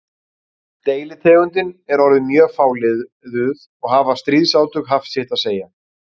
Deilitegundin er orðin mjög fáliðuð og hafa stríðsátök haft sitt að segja um það.